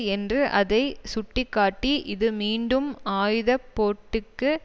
என்று அதை சுட்டி காட்டி இது மீண்டும் ஆயுத போட்டிக்கு